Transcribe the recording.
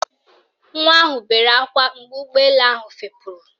Nwa ahụ bere ákwá mgbe ụgbọelu ahụ fepuru